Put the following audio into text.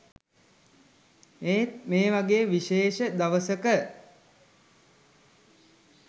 ඒත් ‍මේ වගේ විශේෂ දවසක